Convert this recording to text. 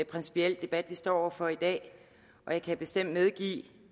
principiel debat vi står over for i dag og jeg kan bestemt medgive